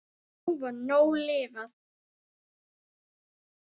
Nú var nóg lifað.